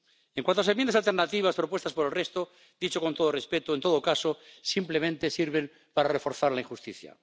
En cuanto a las enmiendas alternativas propuestas por el resto —dicho con todo respeto—, en todo caso, simplemente sirven para reforzar la injusticia.